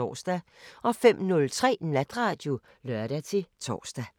05:03: Natradio (lør-tor)